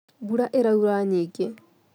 Mbura ĩraura nyingĩ